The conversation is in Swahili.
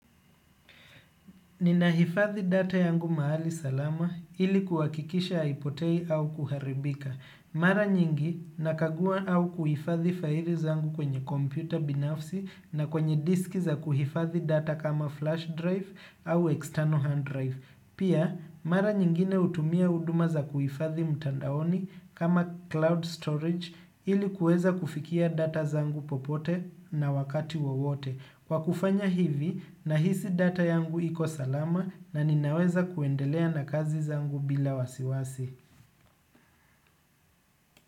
Ninahifadhi data yangu mahali salama ili kuhakikisha haipotei au kuharibika. Mara nyingi nakagua au kuhifadhi faili zangu kwenye kompyuta binafsi na kwenye disk za kuhifadhi data kama flash drive au external hard drive. Pia, mara nyingine hutumia huduma za kuhifadhi mtandaoni kama cloud storage ili kuweza kufikia data zangu popote na wakati wowote. Kwa kufanya hivi, nahisi data yangu iko salama na ninaweza kuendelea na kazi zangu bila wasiwasi.